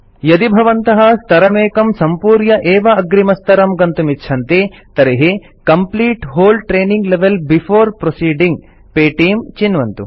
यदि भवन्तः स्तरमेकं सम्पूर्य एव अग्रिमस्तरं गन्तुमिच्छन्ति तर्हि complete whole training level before proceeding पेटीं बॉक्स चिन्वन्तु